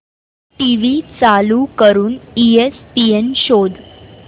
TV चालू करून ESPN शोध